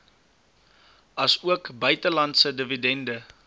asook buitelandse dividende